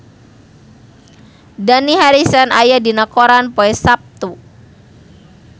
Dani Harrison aya dina koran poe Saptu